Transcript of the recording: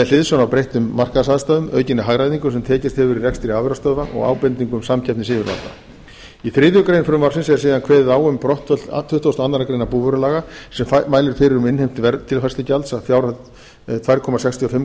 með hliðsjón af breyttum markaðsaðstæðum aukinni hagræðingu sem tekist hefur í rekstri afurðastöðva og ábendingum samkeppnisyfirvalda í þriðju greinar frumvarpsins er síðan kveðið á um brottfall tuttugasta og aðra grein búvörulaga sem mælir fyrir um innheimtu verðtilfærslugjalds að fjárhæð tvö sextíu og fimm